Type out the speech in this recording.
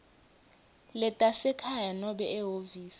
letasekhaya nobe ehhovisi